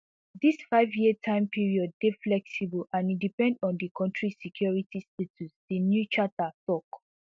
dis fiveyear time period dey flexible and e depend on di kontri security status di new charter tok